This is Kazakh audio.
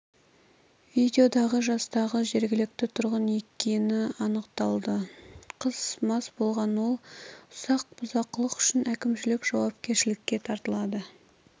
видеодағы жастағы жрегілікті тұрғын екені анықталды қыз мас болған ол ұсақ бұзақылық үшін әкімшілік жауапкершілікке тартылады